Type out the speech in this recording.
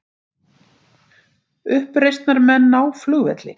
Uppreisnarmenn ná flugvelli